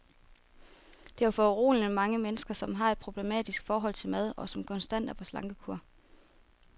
Der er foruroligende mange mennesker, som har et problematisk forhold til mad, og som konstant er på slankekur.